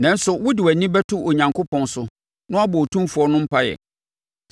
Nanso sɛ wode wʼani bɛto Onyankopɔn so na woabɔ Otumfoɔ no mpaeɛ,